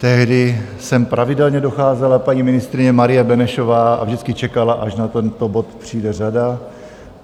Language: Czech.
Tehdy sem pravidelně docházela paní ministryně Marie Benešová a vždycky čekala, až na tento bod přijde řada.